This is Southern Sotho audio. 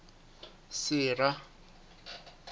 sera